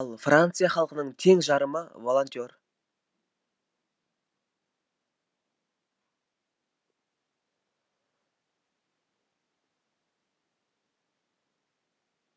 ал франция халқының тең жарымы волонтер